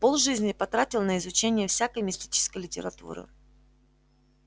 полжизни потратил на изучение всякой мистической литературы